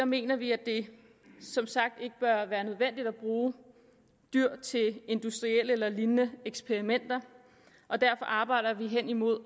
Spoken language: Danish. mener vi at det som sagt ikke bør være nødvendigt at bruge dyr til industrielle eller lignende eksperimenter og derfor arbejder vi hen imod